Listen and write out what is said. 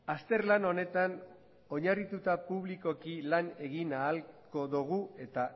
azterlan honetan oinarrituta publikoki lan egin ahalko dugu eta